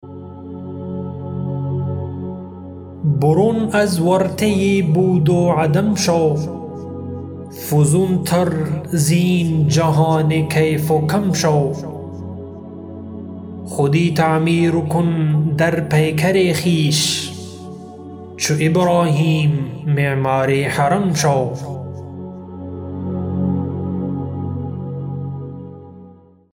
برون از ورطه بود و عدم شو فزونتر زین جهان کیف و کم شو خودی تعمیر کن در پیکر خویش چو ابراهیم معمار حرم شو